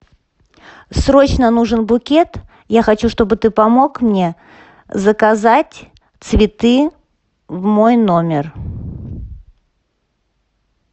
срочно нужен букет я хочу чтобы ты помог мне заказать цветы в мой номер